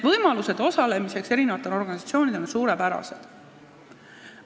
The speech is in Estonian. Nii et erinevatele organisatsioonidele on loodud suurepärased osalemisvõimalused.